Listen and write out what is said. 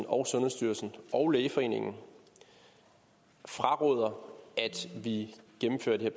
og sundhedsstyrelsen og lægeforeningen fraråder at vi gennemfører det